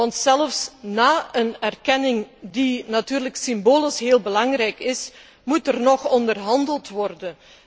Want zelfs na een erkenning, die natuurlijk symbolisch heel belangrijk is, moet er nog onderhandeld worden.